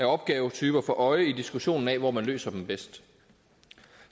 opgavetyper for øje i diskussionen af hvor man løser dem bedst